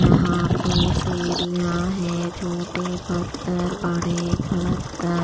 यहां पे सीढ़ियां हैं छोटे पत्थर बड़े पत्थर --